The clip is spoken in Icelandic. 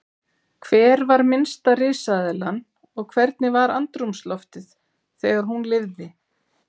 Hver var minnsta risaeðlan og hvernig var andrúmsloftið þegar hún lifði?